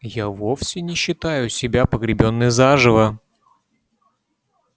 я вовсе не считаю себя погребённой заживо